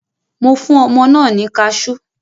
Mo fún ọmọ náà ní kaṣú.